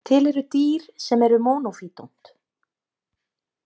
Til eru dýr sem eru monophydont.